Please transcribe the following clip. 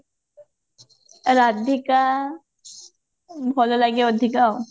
ରାଧିକା ଭଲ ଲାଗେ ଅଧିକା ଆଉ